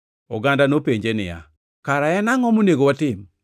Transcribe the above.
Oganda nopenje niya, “Kara en angʼo monego watim?”